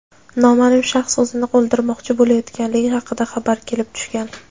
noma’lum shaxs o‘zini o‘ldirmoqchi bo‘layotganligi haqida xabar kelib tushgan.